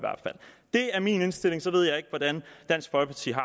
det er min indstilling og så ved jeg ikke hvordan dansk folkeparti har